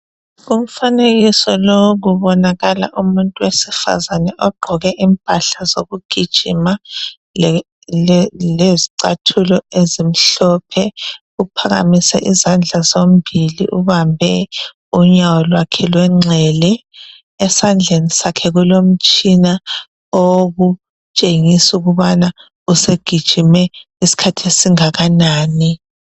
Umfanekiso lo kubokala umuntu owesifazani ogqoke impahla zokugijima lezicathulo ezimhlophe uphakamise izandla zombili ubambe unyawo lwakhe lwenxele esandleni sakhe umtshina otshengisa ukut usegijime isikhat esingakanani